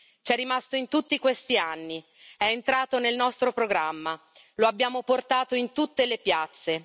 C'è rimasto in tutti questi anni, è entrato nel nostro programma, lo abbiamo portato in tutte le piazze.